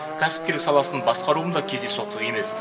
кәсіпкерлік саласын басқаруым да кездейсоқтық емес